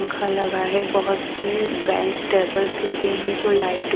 पंखा लगा है बहोत से बेंच टेबल्स लगे हैं जो लाइट --